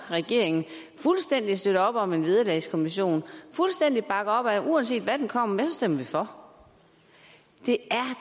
regeringen fuldstændig støtter op om en vederlagskommission fuldstændig bakker op at uanset hvad den kommer med stemmer man for det